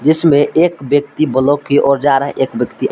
दृश्य में एक व्यक्ति ब्लॉक की ओर जा रहा है एक व्यक्ति--